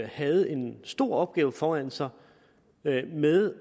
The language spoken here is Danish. havde en stor opgave foran sig med